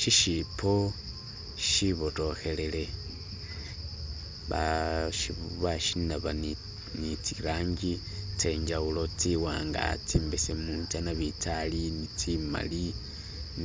Shishibbo shibotokelele bashinaba ni zilangi zenjawulo ziwanga, zi'mbesemu, za nabinzali ni zimali